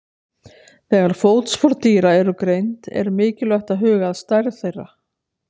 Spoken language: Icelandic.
Þegar fótspor dýra eru greind er mikilvægt að huga að stærð þeirra.